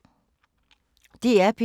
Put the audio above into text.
DR P2